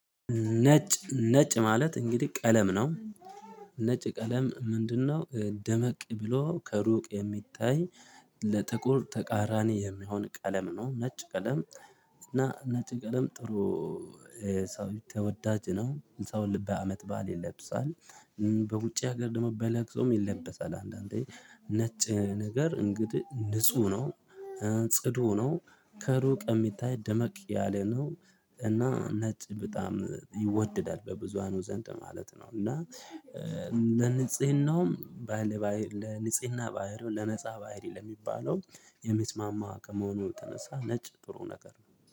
ነጭ ነጭ ማለት እንግዲህ ቀለም ነው። ነጭ ቀለም ምንድነው? ደመቅ ብሎ ከሩቅ የሚታይ ለጥቁር ተቃራኒ የሚሆን ቀለም ነው ነጭ ቀለም። እና ነጭ ቀለም ጥሩ ሰው ተወዳጅ ነው ሰው በአመት በዓል ይለብሳል። በውጭ ሀገር ደግሞ በለቅሶም ይለበሳል አንዳንዴ ነጭ ነገር እንግዲህ ንጹህ ነው። ጽዱ ነው። ከሩቅ የሚታይ ደመቅ ያለ ነው። እና ነጭ በጣም ይወድዳል በብዙሃኑ ዘንድ ማለት ነው። እና ለንጽህናውም ለንጽህና ባህሪውን ለነፃ ባህሪ ለሚባለው የሚስማማ ከመሆኑ የተነሳ ነጭ ጥሩ ነገር ነው